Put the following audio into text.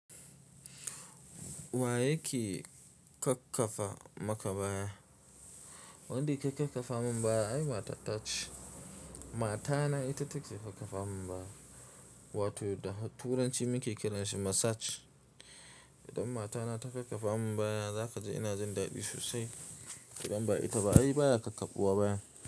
Wa yake kakkafa maka baya? Wanda yake kakkafa min baya ai matata ce. Matana ita take kakkafa min baya, wato da Turanci muke kiranshi massage. Idan matana ta kakkafa min baya, za ka ji ina jin daɗi sosai. Idan ba ita ba ai baya kakkafuwa baya.